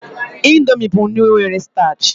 Indomi bụ nri nwere stach